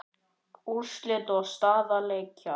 Úrslit og staða leikja